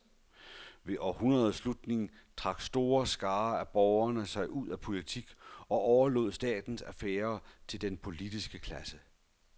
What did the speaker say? Ved århundredets slutning trak store skarer af borgere sig ud af politik og overlod statens affærer til den politiske klasse.